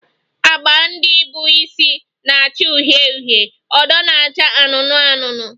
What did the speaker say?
Agba ndị bụ isi na-acha uhie uhie, odo na-acha anụnụ anụnụ